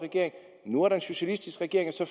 nu er der en socialistisk regering og så